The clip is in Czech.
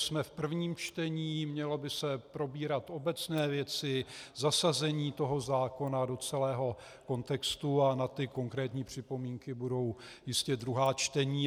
Jsme v prvním čtení, měly by se probírat obecné věci, zasazení toho zákona do celého kontextu a na ty konkrétní připomínky budou jistě druhá čtení.